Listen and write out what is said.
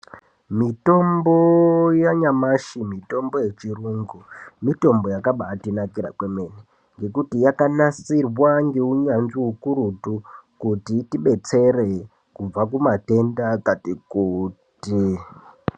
Mitombo yanyamashi mitombo yechirungu iyi mitombo yakabatinakira kwemene. Ngekuti yakanasirwa ngeunyanzvi ukurutu kuti itibetsere kubva kumatenda akati kuti.